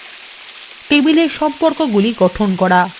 table সম্পর্কগুলি গঠন করা